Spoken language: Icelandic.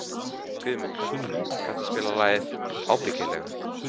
Guðmunda, kanntu að spila lagið „Ábyggilega“?